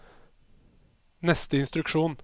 neste instruksjon